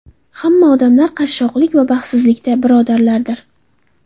Hamma odamlar qashshoqlik va baxtsizlikda birodarlardir.